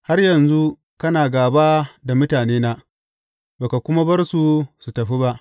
Har yanzu kana gāba da mutanena, ba ka kuma bar su su tafi ba.